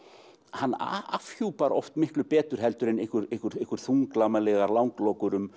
hann afhjúpar oft miklu betur en einhverjar þunglamalegar langlokur um